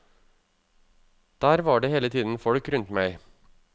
Der var det hele tiden folk rundt meg.